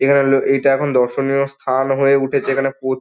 এখানে ইটা এখন দর্শনীয় স্থান হয়ে উঠেছে এখানে প--